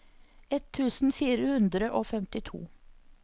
ett tusen fire hundre og femtito